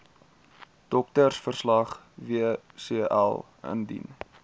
doktersverslag wcl indien